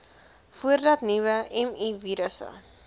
voordat nuwe mivirusse